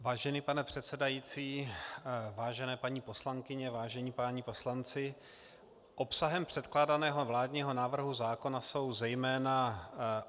Vážený pane předsedající, vážené paní poslankyně, vážení páni poslanci, obsahem předkládaného vládního návrhu zákona jsou zejména: